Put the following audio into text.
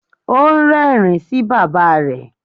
Ó ń rẹ́rìn-ín sí bàbá rẹ̀.